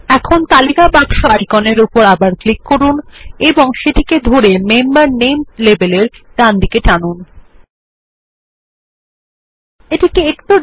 এখন তালিকা বাক্স আইকনে ক্লিক করুন এবং সেটিকে ধরে মেম্বার নামে লেবেল এর ডানদিকে টেনে আনুন